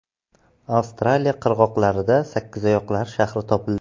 Avstraliya qirg‘oqlarida sakkizoyoqlar shahri topildi.